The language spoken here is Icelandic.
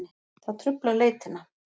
Það truflar leitina.